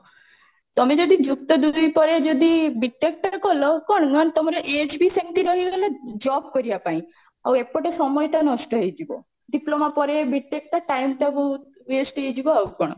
ତମେ ଯଦି ଯୁକ୍ତ ଦୁଇ ପରେ ଯଦି B.TECH ଟା କଲ କଣ ମାନେ ତମର age ବି ସେମିତିରେ ରହିଗଲା job କରିବା ପାଇଁ ଆଉ ଏପଟେ ସମୟ ତ ନଷ୍ଟ ହେଇଯିବ diploma ପରେ B.TECH ଟା time ଟା ବହୁତ waste ହେଇଯିବ ଆଉ କଣ